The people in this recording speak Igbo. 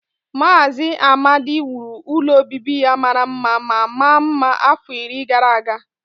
Maazị Amadi wuru ụlọ obibi ya mara mma ma maa mma afọ iri gara aga